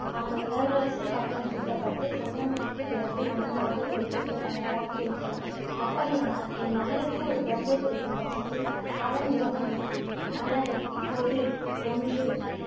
அவன் இளவரசு பட்டம் சூட்டப்பட்டு சந்தனுவிற்கு பிறகு மன்னனாக பொறுப்பேற்க தயாராக இருக்கிறான். அப்படியானால், என் மகளுக்கு ஒரு குழந்தை பிறக்கும் பட்சத்தில் அதன் நிலைமை என்ன மன்னரே இப்போதும் ஒன்று